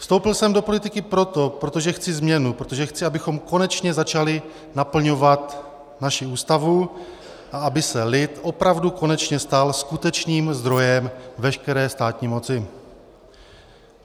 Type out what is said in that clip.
Vstoupil jsem do politiky proto, protože chci změnu, protože chci, abychom konečně začali naplňovat naši ústavu a aby se lid opravdu konečně stal skutečným zdrojem veškeré státní moci.